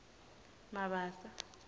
mabasa